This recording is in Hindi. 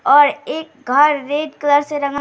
और एक घर रेड कलर से रंगा --